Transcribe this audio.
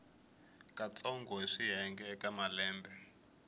katsongo hi swiyenge eka malembe